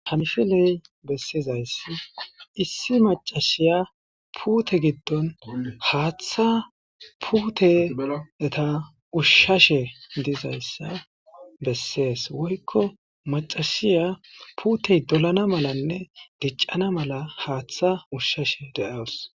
hamishiley bessizayssi issi macashiya puute giddon haaththa puuteeta ushshashe dizayssa bessees woykko macasiya puutey dolana malanne diccana mala haaththa ushshashe de7awus